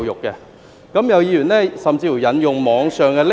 有議員甚至引用網上的匿名......